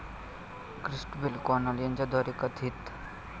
Christabel Connell यांच्याद्वारे कथित